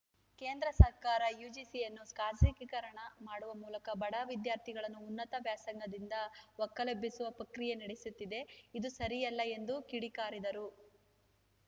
ಕೇಂದ್ರ ಸರ್ಕಾರ ಯುಜಿಸಿಯನ್ನು ಖಾಸಗೀಕರಣ ಮಾಡುವ ಮೂಲಕ ಬಡ ವಿದ್ಯಾರ್ಥಿಗಳನ್ನು ಉನ್ನತ ವ್ಯಾಸಂಗದಿಂದ ಒಕ್ಕಲೆಬ್ಬಿಸುವ ಪ್ರಕ್ರಿಯೆ ನಡೆಸುತ್ತಿದೆ ಇದು ಸರಿಯಲ್ಲ ಎಂದು ಕಿಡಿಕಾರಿದರು